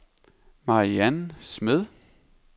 Mariann Smed